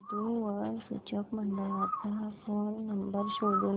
वधू वर सूचक मंडळाचा फोन नंबर शोधून दे